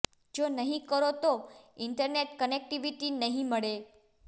જો નહીં કરો તો ઇન્ટરનેટ કનેક્ટિવિટી નહીં મળે